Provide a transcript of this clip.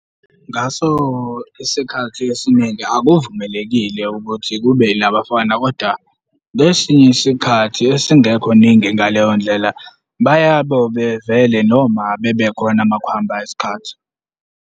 Ngaso isikhathi esiningi akuvumelekile ukuthi kube elabafana koda, ngesinye isikhathi esingekho ningi ngaleyo ndlela, bayabo bevele noma bebekhona makuhamba isikhathi.